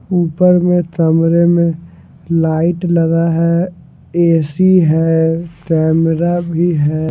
ऊपर में तमरे में लाइट लगा है ए_सी है कैमरा भी है।